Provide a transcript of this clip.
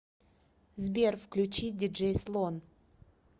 сбер включи диджей слон